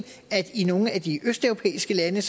at i nogle af de østeuropæiske lande